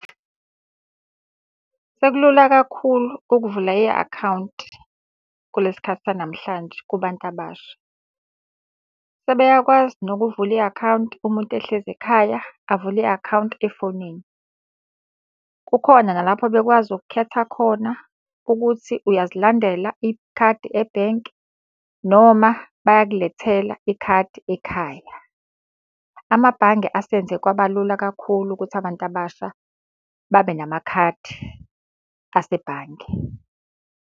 Sekulula kakhulu ukuvula i-akhawunti kulesi sikhathi sanamhlanje kubantu abasha. Sebeyakwazi nokuvula i-akhawunti umuntu ehlezi ekhaya, avule i-akhawunti efonini. Kukhona nalapho bekwazi ukukhetha khona ukuthi uyazilandela ikhadi ebhenki noma bayakulethela ikhadi ekhaya. Amabhange asenze kwaba lula kakhulu ukuthi abantu abasha babe namakhadi asebhange.